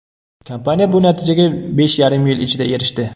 Kompaniya bu natijaga besh yarim yil ichida erishdi.